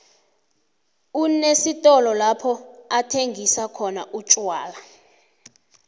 unesitolo lapho athengisa khona umtjwala